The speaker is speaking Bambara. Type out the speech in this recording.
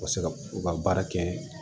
U ka se ka u ka baara kɛ